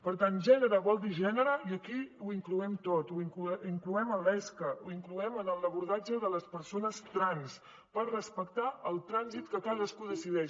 per tant gènere vol dir gènere i aquí ho incloem tot ho incloem en l’esca ho incloem en el l’abordatge de les persones trans per respectar el trànsit que cadascú decideix